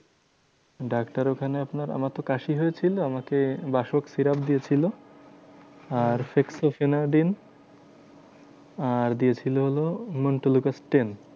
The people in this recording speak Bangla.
ডাক্তার ওখানে আপনার আমার তো কাশি হয়েছিল আমাকে বাসক সিরাপ দিয়েছিলো, আর সিস্টোসিনাডিন আর দিয়েছিল, হলো হিমানটুলুকাস ten.